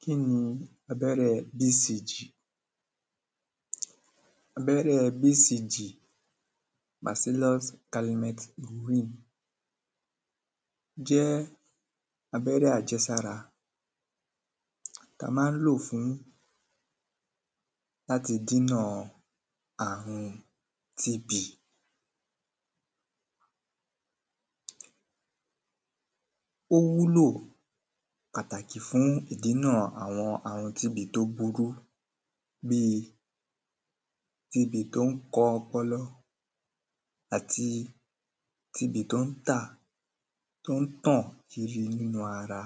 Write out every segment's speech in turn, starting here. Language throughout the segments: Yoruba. kí ni abẹ́rẹ́ BCG abẹ́rẹ́ BCG màsílós kalimet luwín-ìn jẹ́ abẹ́rẹ́ àjẹsára ta má ń lò fùn láti dínà àrun TB ó wúlò pàtàkì fún ìdínà àrun TB tó burú bíí TB tó ń ko ọpọlọ àti TB tó n tà tó ń tàn kiri nínú ara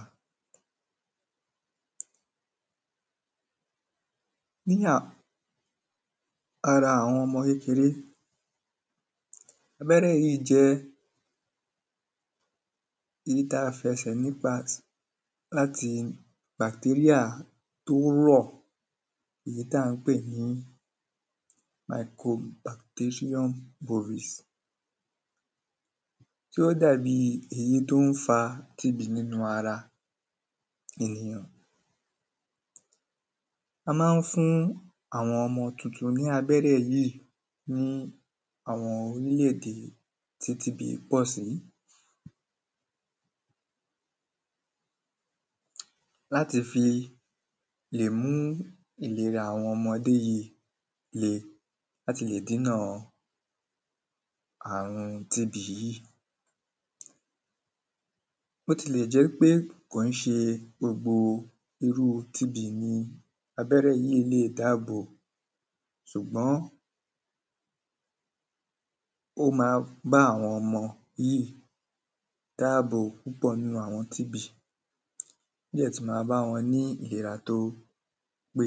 ara àwọn ọmọ kékeré abẹ́rẹ́ yíì jẹ́ ìyí ta fẹsẹ̀ nípa láti bàktéríà tó rọ̀ ìyí tá ń pè ní aikom bàktéríúm pòrís tó dà bi ìyí tó ń fa TB nínú ara ènìyàn a má ń fún àwọn ọmọ tuntun ní abẹ́rẹ́ yíì ní àwọn orílèdè tí TB pọ̀ sí láti fi lè mú ìlera àwọn ọmọdé yíì le láti lè dínà àrùn TB yíì bótilè jẹ́ pé kò ń ṣe gbogbo irú TB ní abẹ́rẹ́ yíì le dábò ṣùgbọ́n ó ma bá àwọn ọmọ yíì dáàbò pupọ̀ nínu àwọn TB ọ́ dẹ̀ tú ma bá ọn ní ìlera tó pé